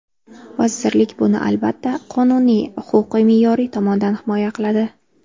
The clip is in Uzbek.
Vazirlik buni, albatta, qonuniy, huquqiy-me’yoriy tomondan himoya qiladi.